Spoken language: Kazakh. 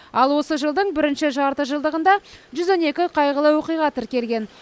ал осы жылдың бірінші жартыжылдығында жүз он екі қайғылы оқиға тіркелген